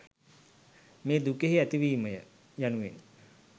මේ දුකෙහි ඇතිවීමය යනුවෙන්